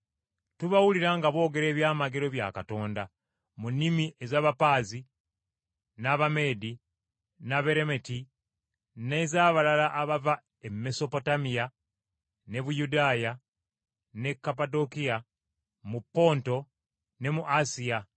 Tubawulira nga boogera eby’amagero bya Katonda mu nnimi ez’Abapaazi, n’Abameedi, n’Abeeramiti, n’ez’abalala abava e Mesopotamiya, ne Buyudaaya, ne Kapadokiya, mu Ponto ne mu Asiya,